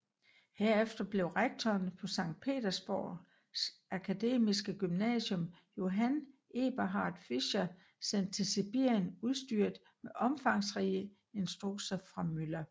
Herefter blev rektoren på Sankt Petersborgs akademiske gymnasium Johann Eberhart Fischer sendt til Sibirien udstyret med omfangsrige instrukser fra Müller